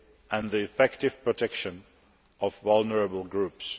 and the effective protection of vulnerable groups.